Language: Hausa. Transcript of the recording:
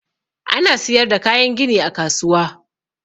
Ana siyar da kayan gini a kasuwa.